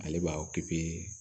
Ale b'a